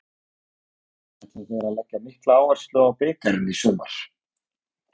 Ætla þeir að leggja mikla áherslu á bikarinn í sumar?